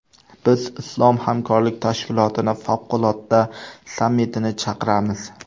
Biz Islom hamkorlik tashkilotining favqulodda sammitini chaqiramiz.